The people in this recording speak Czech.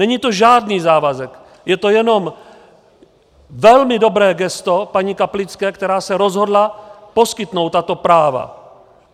Není to žádný závazek, je to jenom velmi dobré gesto paní Kaplické, která se rozhodla poskytnout tato práva.